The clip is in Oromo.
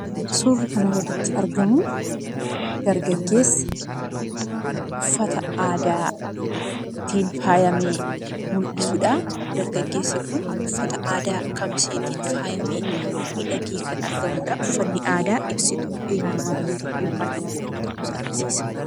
Suurri kanaa gaditti argamu dargaaggeessa uffata aadaatiin faayamee mul'isudha. Dargaggeessi kun uffata aadaa kamiseetiin faayyamee midhagee kana argamudha. Uffanni aadaa ibsituu eenyummaa biyya tokkoo yookaan nama tokkoo ta'uu agarsiisa.